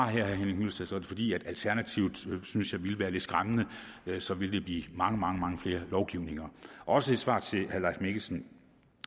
herre henning hyllested så er det fordi jeg synes at alternativet ville være lidt skræmmende så ville der blive mange mange mange flere lovgivninger også et svar til herre mikkelsen